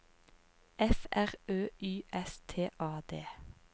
F R Ø Y S T A D